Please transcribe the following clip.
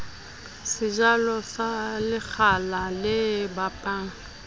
sejalo sa lekgala le babang